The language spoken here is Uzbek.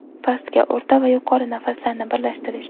Pastki, o‘rta va yuqori nafaslarni birlashtirish.